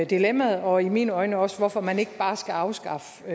dilemmaet og i mine øjne også hvorfor man ikke bare skal afskaffe